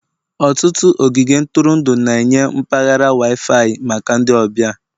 Ọtụtụ ogige ntụrụndụ na-enye mpaghara Wi-Fi maka ndị ọbịa.